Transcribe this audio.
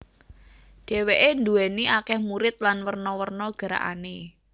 Dheweke duwéni akeh murid lan werna werna gerakane